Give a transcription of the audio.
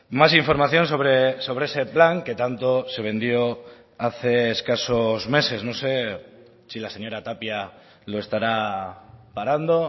más información sobre ese plan que tanto se vendió hace escasos meses no sé si la señora tapia lo estará parando